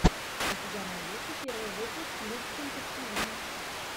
у тебя найдется первый выпуск любченко тиви